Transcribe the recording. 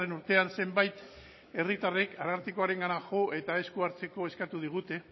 urtean zenbait herritarrek arartekora jo eta esku hartzeko eskatu digute